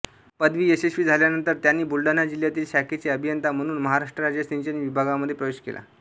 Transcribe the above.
पदवी यशस्वी झाल्यानंतर त्यांनी बुलढाणा जिल्ह्यातील शाखेचे अभियंता म्हणून महाराष्ट्र राज्य सिंचन विभागामध्ये प्रवेश केला